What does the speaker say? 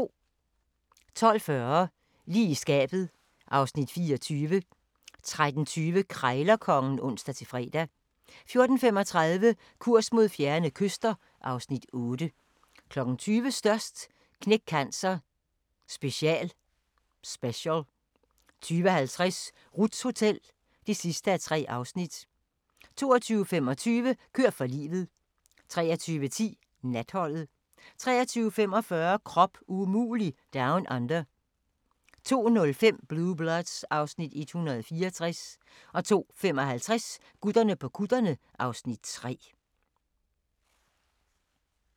12:40: Lige i skabet (Afs. 24) 13:20: Krejlerkongen (ons-fre) 14:35: Kurs mod fjerne kyster (Afs. 8) 20:00: Størst - Knæk Cancer special 20:50: Ruths Hotel (3:3) 22:25: Kør for livet 23:10: Natholdet 23:45: Krop umulig Down Under 02:05: Blue Bloods (Afs. 164) 02:55: Gutterne på kutterne (Afs. 3)